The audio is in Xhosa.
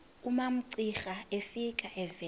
umamcira efika evela